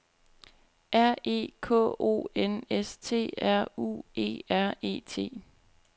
R E K O N S T R U E R E T